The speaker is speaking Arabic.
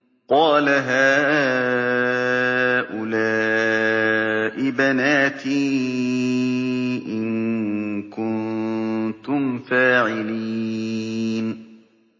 قَالَ هَٰؤُلَاءِ بَنَاتِي إِن كُنتُمْ فَاعِلِينَ